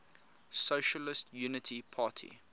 socialist unity party